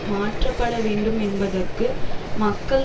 மாற்றப்பட வேண்டும் என்பதற்கு மக்கள்